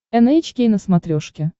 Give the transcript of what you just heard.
эн эйч кей на смотрешке